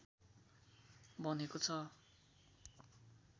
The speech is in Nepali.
बनेको छ